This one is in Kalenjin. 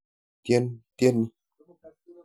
Tyen tyeni.